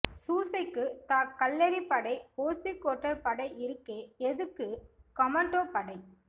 சூசைக்கு தா கல்லெறி படை ஓசிகோட்டர் படை இருக்கே எதுக்கு கொமோண்டோ படை